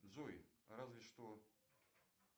джой разве что